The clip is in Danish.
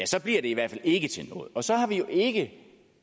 så bliver det i hvert fald ikke til noget og så har vi jo ikke